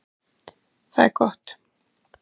Það er gott.